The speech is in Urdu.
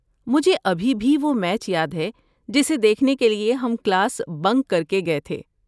مجھے ابھی بھی وہ میچ یاد ہے جسے دیکھنے کے لیے ہم کلاس بنک کر کے گئے تھے۔